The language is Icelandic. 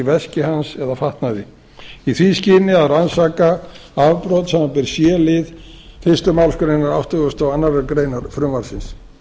veski hans eða fatnaði í því skyni að rannsaka afbrot samanber c lið fyrstu málsgreinar áttugustu og aðra grein frumvarpsins